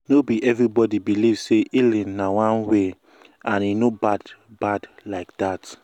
no be everybody believe say healing na one way and e no bad bad like that.